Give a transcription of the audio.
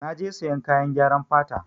Na je sayan kayan gyaran fata.